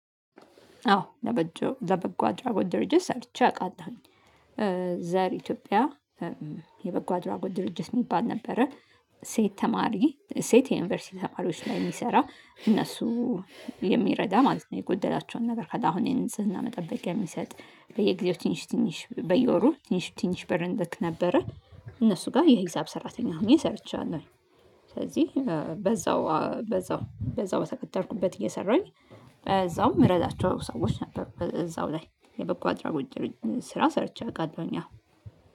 አዎ ለበጎ አድራጎት ድርጅት ሰርቼ አውቃለሁኝ። ዘር ኢትዮጵያ የበጎ አድራጎት ድርጅት የሚባል ነበረ። ሴት የዩኒቨርሲቲ ተማሪዎች ላይ የሚሰራ። እነሱን የሚረዳ ማለት ነው። የጎደላቸውን ነገር ካለ አሁን የንጽህና መጠበቂያ የሚሰጥ። በየጊዜው ትንሽ ትንሽ በየወሩ ትንሽ ትንሽ ብር እንልክ ነበረ። እነሱ ጋር የሂሳብ ሰራተኛ ሆኜ ሰርቻለሁ። ስለዚህ በዛው በተቀጠርኩበት እየሰራኝ በዛውም እረዳቸው ሰዎች ነበሩ እዛው ላይ። የበጎ አድራጎት ስራ ሰርቼ አውቃለሁኝ አዎ።